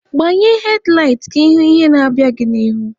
Gbanye hedlaịt ka ịhụ ihe na-abịa n'ihu!